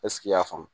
i y'a faamu